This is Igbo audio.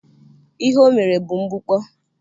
Ihe o mere bụ mgbukpọ.